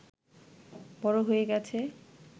বড় হয়ে গেছে